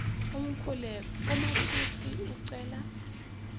umkhuleko umathusi ucela